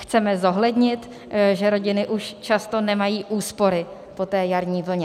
Chceme zohlednit, že rodiny už často nemají úspory po té jarní vlně.